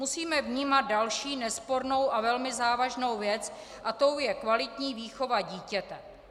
Musíme vnímat další nespornou a velmi závažnou věc a tou je kvalitní výchova dítěte.